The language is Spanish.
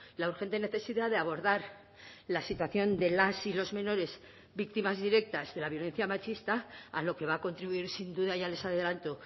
la urgente necesidad de abordar la situación de las y los menores víctimas directas de la violencia machista a lo que va a contribuir sin duda ya les adelanto